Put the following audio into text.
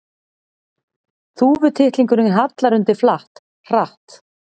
Þúfutittlingurinn hallar undir flatt, hratt.